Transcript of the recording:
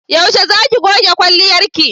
Yaushe za ki goge kwalliyarki?